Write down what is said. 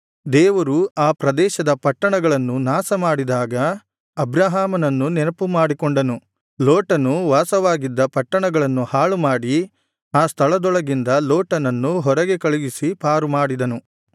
ದೇವರು ಆ ಪ್ರದೇಶದ ಪಟ್ಟಣಗಳನ್ನು ನಾಶಮಾಡಿದಾಗ ಅಬ್ರಹಾಮನನ್ನು ನೆನಪುಮಾಡಿಕೊಂಡನು ಲೋಟನು ವಾಸವಾಗಿದ್ದ ಪಟ್ಟಣಗಳನ್ನು ಹಾಳುಮಾಡಿ ಆ ಸ್ಥಳದೊಳಗಿಂದ ಲೋಟನನ್ನು ಹೊರಗೆ ಕಳುಹಿಸಿ ಪಾರುಮಾಡಿದನು